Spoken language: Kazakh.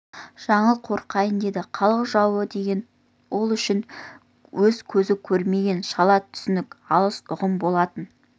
жаңыл қорқайын деді халық жауы деген ол үшін өз көзі көрмеген шала түсінікті алыс ұғым болатын